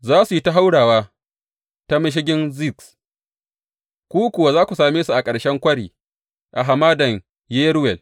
Za su yi ta haurawa ta Mashigin Ziz, ku kuwa za ku same su a ƙarshen kwari a Hamadan Yeruwel.